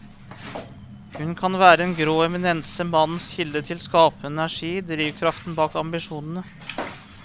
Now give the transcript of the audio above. Hun kan være en grå eminense, mannens kilde til skapende energi, drivkraften bak ambisjonene.